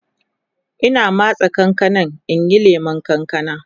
Ina matse kankanan in yi lemun kankana